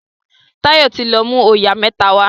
Tayo tí lọ mú oyà mẹ́ta wá